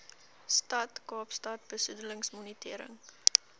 stad kaapstad besoedelingsmonitering